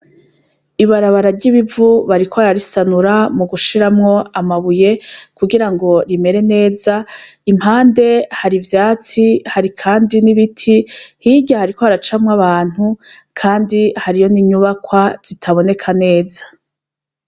Ibarabara ry'ibivu bariko bararisanura mu gushiramwo amabuye kugirango rimere neza impande hari ivyatsi hari kandi n'ibiti hirya hariko haracamwo abantu kandi hariyo n'inyubakwa zitaboneka neza.